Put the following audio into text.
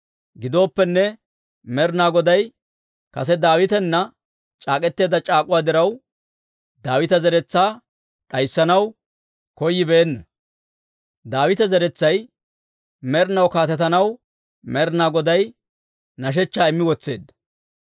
Gidooppenne, Med'inaa Goday kase Daawitana c'aak'k'eteedda c'aak'uwa diraw, Daawita zeretsaa d'ayssanaw koyyibeenna. Daawita zeretsay med'inaw kaatetanaw Med'inaa Goday hidootaa immi wotseedda.